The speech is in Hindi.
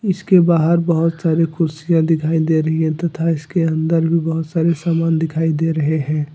इसके बाहर बहोत सारी कुर्सियां दिखाई दे रही हैं तथा इसके अंदर भी बहोत सारे सामान दिखाई दे रहे हैं।